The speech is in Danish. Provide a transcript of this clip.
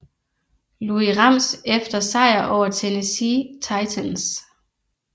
Louis Rams efter sejr over Tennessee Titans